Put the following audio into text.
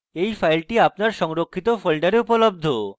এই file আপনার সংরক্ষিত folder উপলব্ধ